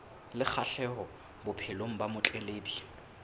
le kgahleho bophelong ba motletlebi